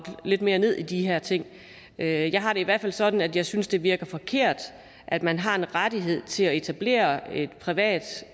lidt mere ned i de her ting jeg har det i hvert fald sådan at jeg synes det virker forkert at man har en rettighed til at etablere et privat